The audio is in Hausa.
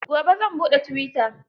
Gobe zan buɗe tuwita.